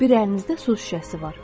Bir əlinizdə su şüşəsi var.